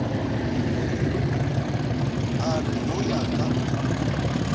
a re ho ya ka